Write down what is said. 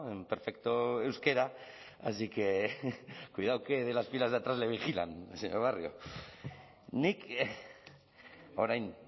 en perfecto euskera así que cuidado que de las filas de atrás le vigilan señor barrio nik orain